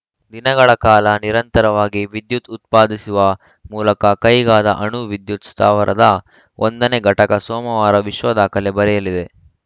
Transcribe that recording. ದಿನಗಳ ಕಾಲ ನಿರಂತರವಾಗಿ ವಿದ್ಯುತ್‌ ಉತ್ಪಾದಿಸುವ ಮೂಲಕ ಕೈಗಾದ ಅಣು ವಿದ್ಯುತ್‌ ಸ್ಥಾವರದ ಒಂದನೇ ಘಟಕ ಸೋಮವಾರ ವಿಶ್ವ ದಾಖಲೆ ಬರೆಯಲಿದೆ